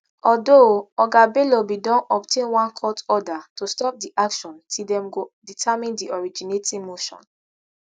although oga bello bin don obtain one court order to stop di action till dem go determine di originating motion